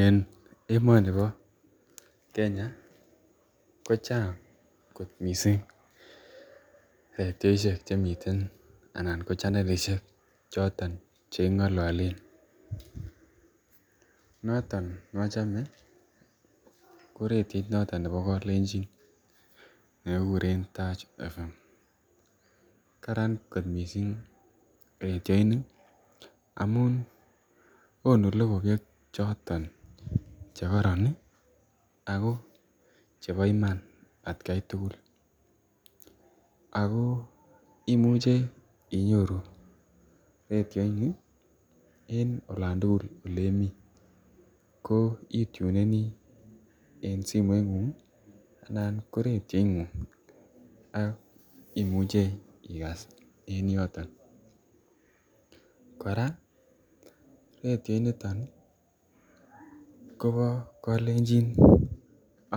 En emonibo Kenya ko chang kot mising redioishek anan ko chanelishek choton chekingololen, noton nochome ko redioit noton nebo kalenjin nekikuren Taach Fm, karan kot mising redioini amun konuu lokoiwek chotonchekoron ak ko chebo iman atkai tukul ak koimuche inyoru redioini en olantukul oleimi ko ituneni en simoingung anan ko reio ingung ak imuche ikaas en yoton, kora redio initon kobo kolenjin